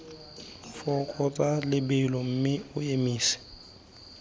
fokotsa lebelo mme o emise